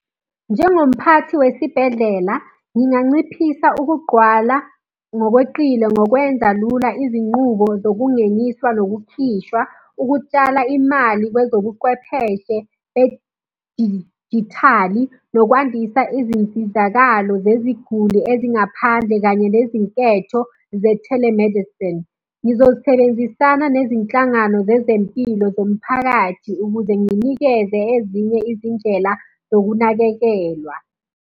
Njengomphathi wesibhedlela, nginganciphisa ukugqwala ngokweqile ngokwenza lula izinqubo zokungeniswa nokukhishwa, ukutshala imali kwezobuqwepheshe bedijithali, nokwandisa izinsizakalo zeziguli ezingaphandle kanye nezinketho ze-telemedicine. Ngizosebenzisana nezinhlangano zezempilo zomphakathi ukuze nginikeze ezinye izindlela zokunakekelwa.